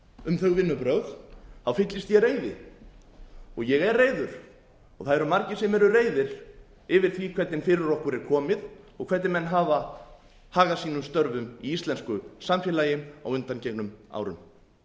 um þau vinnubrögð fyllist ég reiði og ég er reiður og það eru margir sem eru reiðir yfir því hvernig fyrir okkur er komið og hvernig menn hafa hagað sínum störfum í íslensku samfélagi á á undangengnum árum þingmannanefndarinnar sem